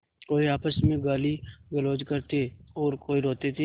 कोई आपस में गालीगलौज करते और कोई रोते थे